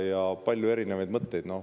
Teil on veel palju erinevaid mõtteid.